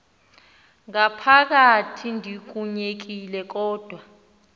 ngaphakathi ndikunyekile kodwa